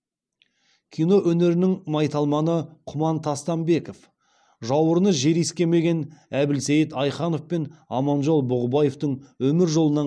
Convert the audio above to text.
кино өнерінің майталманы құман тастанбеков жауырыны жер искемеген әбілсейіт айханов пен аманжол бұғыбаевтің өмір жолынан